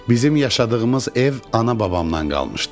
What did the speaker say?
Bizim yaşadığımız ev ana-babamdan qalmışdı.